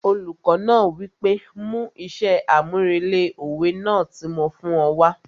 Olùkọ náà wí pé 'mú iṣẹ́ àmúrelé òwe náà tí mo fún ọ wá'